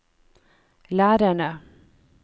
lærerne